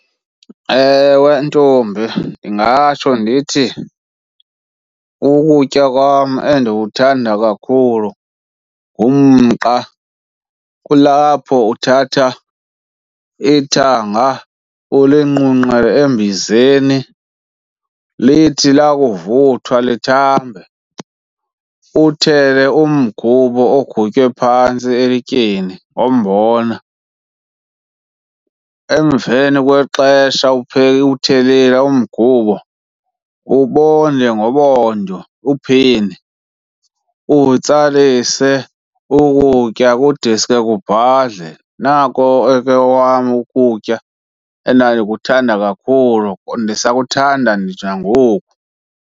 Ewe ntombi, ndingatsho ndithi ukutya kwam endikuthanda kakhulu ngumqa. Kulapho uthatha ithanga ulinqunqe embizeni. Lithi lakuvuthwa lithambe, uthele umgubo ogutywe phantsi elityeni, wombona. Emveni kwexesha uthelile umgubo, ubonde ngobondo, uphini, utsalise ukutya kudeske kubhadle. Nako ke wam ukutya endandikuthanda kakhulu, ndisakuthanda nditsho nangoku.